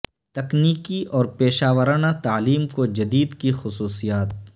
تکنیکی اور پیشہ ورانہ تعلیم کو جدید کی خصوصیات